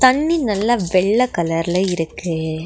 தண்ணி நல்லா வெள்ள கலர்ல இருக்கு.